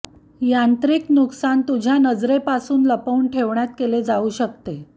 यांत्रिक नुकसान तुझ्या नजरेपासून लपवून ठेवण्यात केले जाऊ शकते